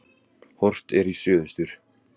Horft er í suðaustur.